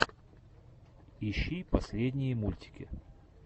ищи последние мультики